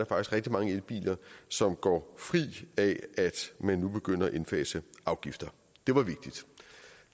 rigtig mange elbiler som går fri af at man nu begynder at indfase afgifterne det var vigtigt